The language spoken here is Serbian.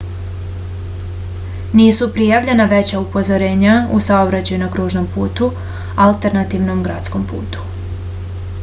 nisu prijavljena veća usporenja u saobraćaju na kružnom putu alternativnom gradskom putu